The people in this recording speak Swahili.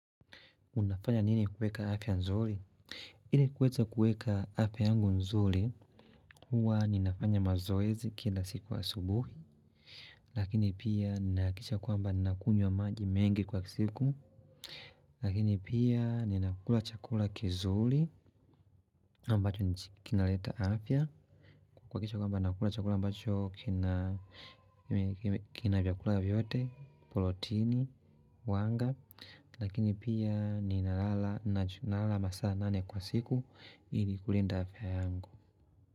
Unafanya nini kuweka afya nzuri? Hili kweza kuweka afya yangu nzuri, huwa ninafanya mazoezi kila siku asubuhi. Lakini pia ninahakikisha kwamba ninakunywa maji mengi kwa siku. Lakini pia ninakula chakula kizuri ambacho kinaleta afya. Kuhakikisha kwamba nakula chakula ambacho kina vyakula vyote, protini, wanga. Lakini pia ninalala masaa nane kwa siku ili kulinda afya yangu.